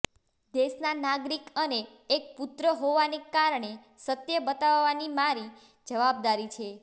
દેશના નાગરિક અને એક પુત્ર હોવાને કારણે સત્ય બતાવવાની મારી જવાબદારી છે